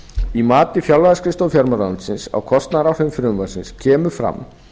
í mati fjárlagaskrifstofu fjármálaráðuneytisins á kostnaðaráhrifum frumvarpsins kemur fram